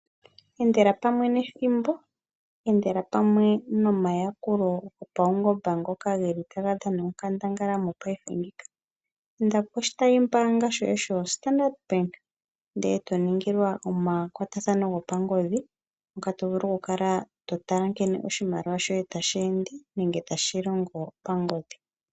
Endela pamwe nethimbo, endela pamwe nomayakulo gopaungomba ngoka geli taga dhana onkandangala mopaife ngika. Inda poshitayi mbaanga shoye sho Standard Bank ndele to ningilwa omakwatathano gopangodhi ngoka to vulu oku kala to tala nkene oshimaliwa shoye tashi ende nenge tashi tashi longo pangodhi.